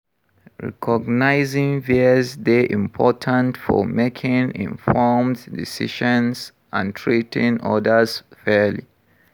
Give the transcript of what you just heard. Recognizing bias dey important for making informed decisions and treating odas fairly.